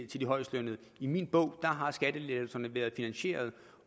de højestlønnede i min bog har skattelettelserne været finansierede